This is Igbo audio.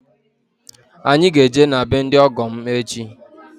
Anyị ga-eje be ndị ọgọ m echi